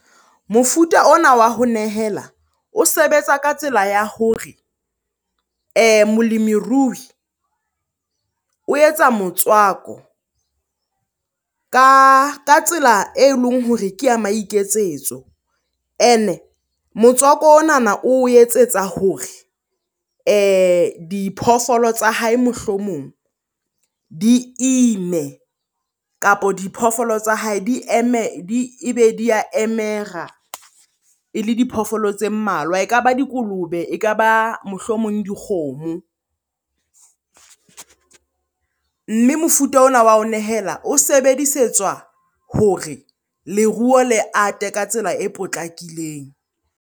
Mofuta ona wa ho nehela o sebetsa ka tsela ya hore molemiruhi o etsa motswako ka tsela e leng hore ke ya maiketsetso. Ene motswako onana o etsetsa hore diphoofolo tsa hae mohlomong di ime, kapa diphoofolo tsa hae e be di ya emera e le diphoofolo tse mmalwa. E ka ba dikolobe, e ka ba mohlomong dikgomo. Mme mofuta ona wa ho nehela o sebedisetswa hore leruo le ate ka tsela e potlakileng.